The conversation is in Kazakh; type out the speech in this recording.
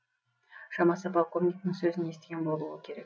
шамасы полковниктің сөзін естіген болуы керек